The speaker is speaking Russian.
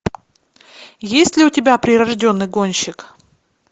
есть ли у тебя прирожденный гонщик